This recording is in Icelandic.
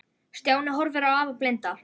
Stjáni horfði á afa blinda.